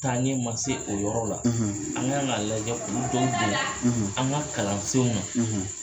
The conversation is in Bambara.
Taa ɲɛ ma se o yɔrɔ la an kan k'a lajɛ olu dɔw don an ka kalansenw na